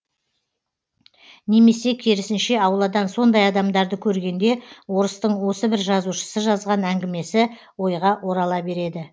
немесе керісінше ауладан сондай адамдарды көргенде орыстың осы бір жазушысы жазған әңгімесі ойға орала береді